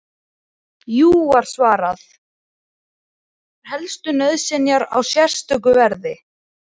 Jú, var svarað, menn fá skammtaðar helstu nauðsynjar á sérstöku verði.